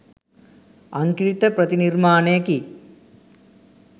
අංකිත ප්‍රතිනිර්මාණයකි.